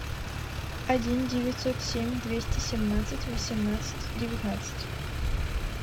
один девятьсот семь двести семнадцать восемнадцать девятнадцать